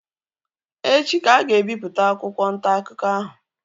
Echi ka a ga-ebipụta akwụkwọ ntaakụkọ ahụ